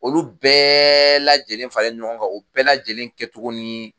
Olu bɛɛ lajɛlen faralen ɲɔgɔn kan o bɛɛ lajɛlen kɛ togo ni